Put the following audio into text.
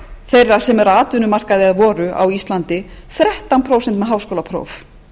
þeirra sem voru á atvinnumarkaði á íslandi þrettán prósent með háskólapróf